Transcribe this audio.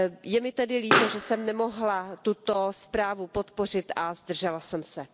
Je mi tedy líto, že jsem nemohla tuto zprávu podpořit a zdržela jsem se.